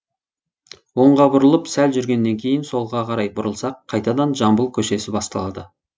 оңға бұрылып сәл жүргеннен кейін солға қарай бұрылсақ қайтадан жамбыл көшесі басталады